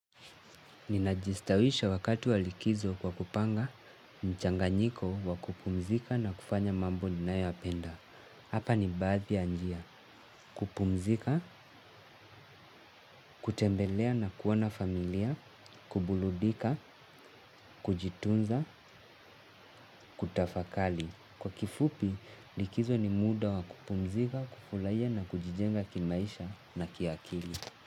Ninajistawisha wakati wa likizo kwa kupanga mchanganyiko wa kupumzika na kufanya mambo ninayoyapenda. Hapa ni baadhi ya njia; kupumzika, kutembelea na kuoana familia, kuburudika, kujitunza, kutafakari. Kwa kifupi likizo ni muda wa kupumzika, kufurahia na kujijenga kimaisha na kiakili.